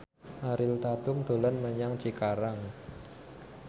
Ariel Tatum dolan menyang Cikarang